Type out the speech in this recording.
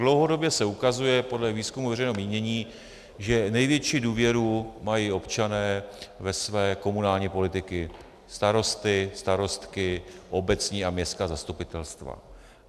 Dlouhodobě se ukazuje podle výzkumů veřejného mínění, že největší důvěru mají občané ve své komunální politiky, starosty, starostky, obecní a městská zastupitelstva.